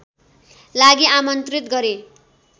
लागि आमन्त्रित गरे